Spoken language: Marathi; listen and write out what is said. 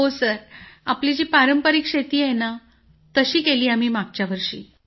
हो आपली जी पारंपरिक शेती आहे तशी केली आम्ही मागच्या वर्षी